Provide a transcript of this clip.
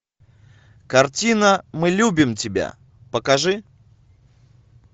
картина мы любим тебя покажи